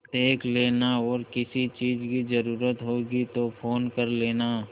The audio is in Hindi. देख लेना और किसी चीज की जरूरत होगी तो फ़ोन कर लेना